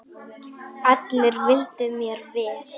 Allir vildu mér vel.